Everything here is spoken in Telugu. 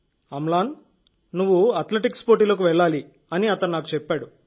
అమ్లాన్ నువ్వు అథ్లెటిక్స్ పోటీలకు వెళ్లాలి అని అతను చెప్పాడు